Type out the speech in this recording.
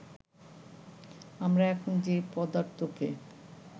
আমরা এখন যে পদার্থকে